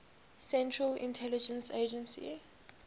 central intelligence agency